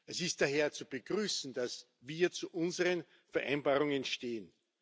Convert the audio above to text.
Es ist daher zu begrüßen, dass wir zu unseren Vereinbarungen stehen.